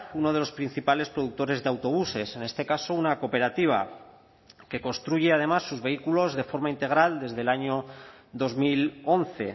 uno de los principales productores de autobuses en este caso una cooperativa que construye además sus vehículos de forma integral desde el año dos mil once